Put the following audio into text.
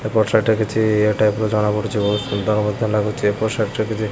ଏପଟ ସାଇଟ୍ ରେ କିଛି ଇଏ ଟାଇପ ର ଜଣା ପଡ଼ୁଚି। ବୋହୁତ ସୁନ୍ଦର ମଧ୍ୟ ଲାଗୁଚି। ଏପଟ ସାଇଟ୍ ରେ କିଛି --